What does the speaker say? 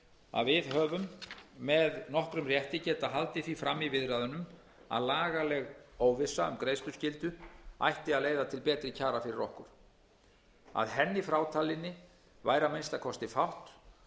að við höfum með nokkrum rétti getað haldið því fram í viðræðunum að lagaleg óvissa um greiðsluskyldu ætti að leiða til betri kjara fyrir okkur að henni frátalinni væri að minnsta kosti fátt